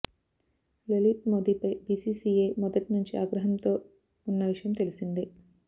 లలిత్ మోదీపై బీసీసీఐ మొదటి నుంచి ఆగ్రహంతో ఉన్న విషయం తెలిసిందే